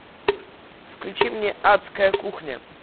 включи мне адская кухня